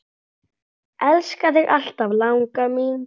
Elska þig alltaf, langa mín.